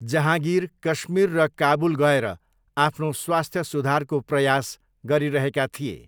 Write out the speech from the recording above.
जहाँगिर कश्मीर र काबुल गएर आफ्नो स्वास्थ्य सुधारको प्रयास गरिरहेका थिए।